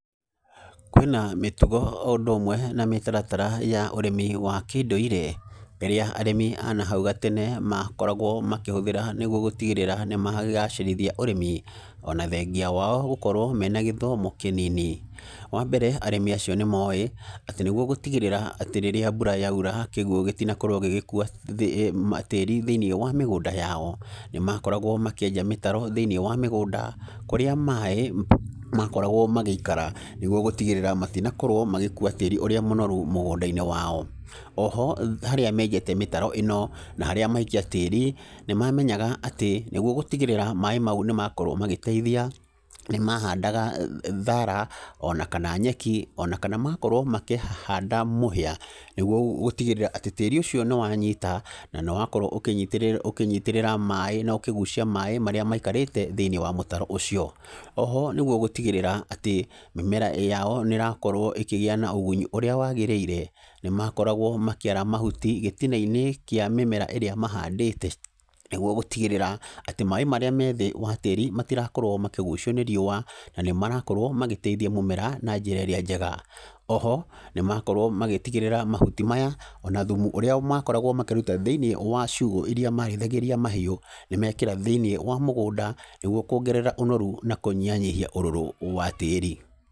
Kwĩna mĩtugo o ũndũ ũmwe na mĩtaratara ya ũrĩmi wa kĩndũire, ĩrĩa arĩmi a nahau gatene makoragwo makĩhũthĩra, nĩguo gũtigĩrĩra nĩ magacĩrithia ũrĩmi, ona thengia wao gũkorwo mena gĩthomo kĩnini, wa mbere, arĩmi acio nĩ moĩ atĩ nĩguo gũtigĩrĩra atĩ rĩrĩa mbura yaira, kĩguo gĩtinakorwo gĩgĩkuwa thĩ tĩri thĩinĩ wa mĩgũnda yao, nĩ makoragwo makĩenja mĩtaro thĩinĩ wa mĩgũnda kũrĩa maĩ makoragwo magĩikara, nĩguo gũtigĩrra matinakorwo magĩkuwa tĩri ũrĩa monoru mũgũnda-inĩ wao, oho harĩa menjete mĩtaro ĩno, na harĩa maikia tĩri, nĩ mamenyaga atĩ nĩguo gũtigĩrĩra maĩ mau nĩ makorwo magĩteithia, nĩ mahandaga thara, ona kana nyeki, ona kana magakorwo makĩhanda mũhia, nĩguo gũtigĩrĩra atĩ tĩri ũcio nĩ wanyita, na nĩ wakorwo ũkĩnyitĩrĩra ũkĩnyitĩrĩra maĩ, na ũkĩgucia maĩ marĩa maikarĩte thĩinĩ wa mũtaro ũcio, oho nĩguo gũtigĩrĩra atĩ mĩmera yao nĩrakorwo ĩkĩgĩa na ũgunyi ũrĩa wagĩrĩire, nĩ makoragwo makĩara mahuti gĩtina-inĩ kĩa mĩmera ĩrĩa mahandĩte, nĩguo gũtigĩrĩra atĩ maĩ marĩa methĩ wa tĩri matirakorwo makĩgucio nĩ riũwa, na nĩ marakorwo magĩteithia mũmera na njĩra ĩrĩa njega, oho nĩ makorwo magĩtigĩrĩra mahuti maya na thumu ũrĩa makoragwo makĩruta thĩinĩ wa ciugo iria marĩithagĩria mahiũ, nĩ mekĩra thĩinĩ wa mũgũnda, nĩguo kwongerera ũnoru na kũnyihanyihia ũrũrũ wa tĩri.